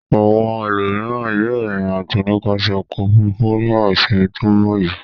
Àwọn ẹlòmíràn yóò rìnrìn-àjò nípasẹ̀ ọkọ̀-òfurufú nígbà ìsìnmi tó ń bọ̀ yìí.